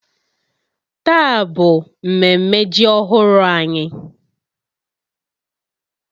Taa bụ mmemme ji ọhụrụ anyị